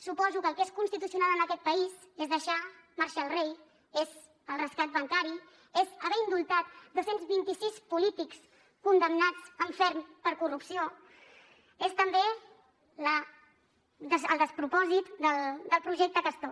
suposo que el que és constitucional en aquest país és deixar marxar el rei és el rescat bancari és haver indultat dos cents i vint sis polítics condemnats en ferm per corrupció és també el despropòsit del projecte castor